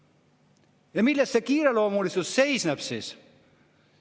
" Ja milles see kiireloomulisus seisneb?